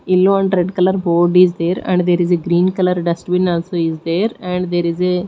yellow and red colour board is there and there is a green colour dustbin also is there and there is a--